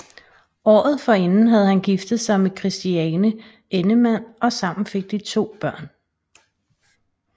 Året forinden havde han giftet sig med Christiane Endemann og sammen fik de to børn